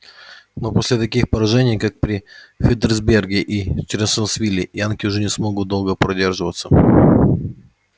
но после таких поражений как при фредериксберге и чанселорсвилле янки уже не смогут долго продерживаться